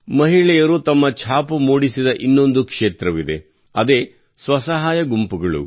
ಮಹಿಳೆಯರು ತಮ್ಮ ಛಾಪು ಮೂಡಿಸಿದ ಇನ್ನೊಂದು ಕ್ಷೇತ್ರವಿದೆ ಅದೇ ಸ್ವಸಹಾಯ ಗುಂಪುಗಳು